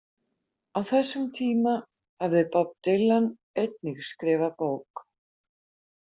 Á þessum tíma hafði Bob Dylan einnig skrifað bók.